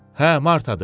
Hə, Martadır.